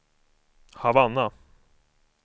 Havanna